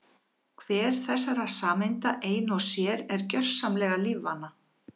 Hver þessara sameinda ein og sér er gjörsamlega lífvana.